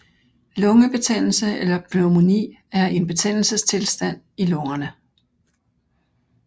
Lungebetændelse eller pneumoni er en betændelsestilstand i lungerne